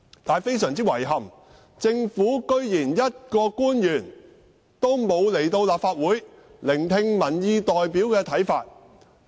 但是，非常遺憾，政府竟然一個官員都沒有出席聆聽民意代表的看法。